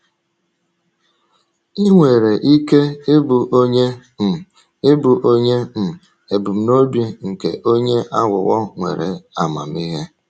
Ị nwere ike ịbụ onye um ịbụ onye um ebumnobi nke onye aghụghọ nwere amamihe.